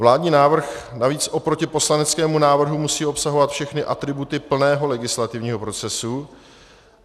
Vládní návrh navíc oproti poslaneckému návrhu musí obsahovat všechny atributy plného legislativního procesu.